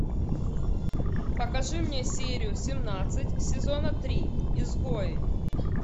покажи мне серию семнадцать сезона три изгои